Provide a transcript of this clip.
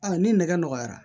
ni nɛgɛ nɔgɔyara